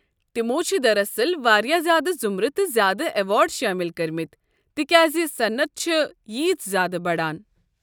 تمو چھ دراصل واریاہ زیادٕ ضُمرٕ تہٕ زیادٕ ایوارڈ شٲمِل کٔرِمٕتۍ تکیاز صنعت چھ ییژ زیادٕ بڑان۔